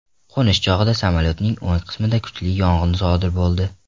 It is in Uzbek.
Qo‘nish chog‘ida samolyotning o‘ng qismida kuchli yong‘in sodir bo‘ldi.